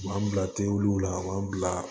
U b'an bila tewuw la u b'an bila